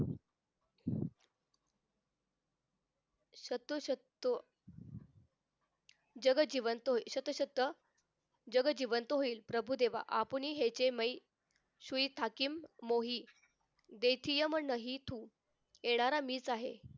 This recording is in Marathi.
शतोषतो जग जीवन तो शतशत जग जीवन तो होईल प्रभुदेवा आपणही ह्याचे माई स्वी ठाकीम मोही देठीयंम मोही तो देणारा मीच आहे